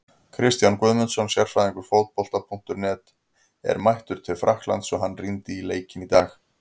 Kristján Guðmundsson, sérfræðingur Fótbolta.net, er mættur til Frakklands og hann rýndi í leikinn í dag.